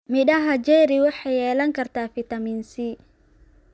Midhoha cherry waxay yeelan kartaa fitamiin C.